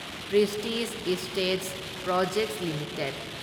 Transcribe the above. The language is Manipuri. Prestige Estates Projects limited